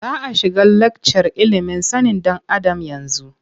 Za a shiga lakcar ilimin sanin ɗan Adam yanzu.